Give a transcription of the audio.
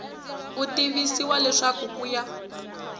u tivisiwa leswaku ku ya